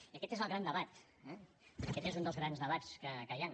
i aquest és el gran debat eh aquest és un dels grans debats que hi han